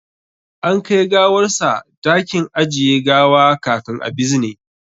An kai gawarsa dakin ajiye gawa kafin a bizine